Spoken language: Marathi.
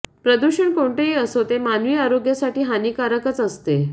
प्रदूषण कोणतेही असो ते मानवी आरोग्यासाठी हानिकारकच असते